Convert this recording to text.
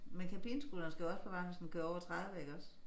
Men kabinescooteren skal jo også på vejen hvis den kører over 30 iggås?